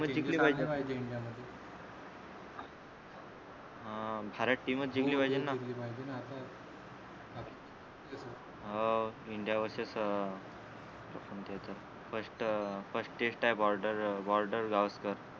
हा भारत टीमच जिंकली पाहिजेना हो इंडिया vs अं first अं first test आहे बॉर्डर अं बॉर्डर गावस्कर